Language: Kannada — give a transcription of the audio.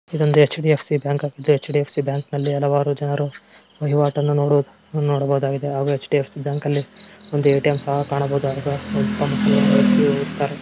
ಇದೊಂದು ಎಚ್.ಡಿ.ಎಫ್.ಸಿ. ಬ್ಯಾಂಕ್ . ಎಚ್.ಡಿ.ಎಫ್.ಸಿ. ಬ್ಯಾಂಕಲ್ಲಿ ಹಲವಾರು ಜನರು ಇರೋದನ್ನು ನೋಡಬಹುದಾಗಿದೆ. ಹಾಗು ಎಚ್.ಡಿ.ಎಫ್.ಸಿ. ಬ್ಯಾಂಕ್ ಅಲ್ಲಿ ಒಂದು ಏ.ಟಿ.ಎಂ. ಸಹ ಕಾಣಬಹುದಾಗಿದೆ.